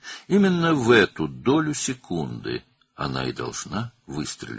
Məhz bu saniyənin hissəsində o atəş açmalıdır.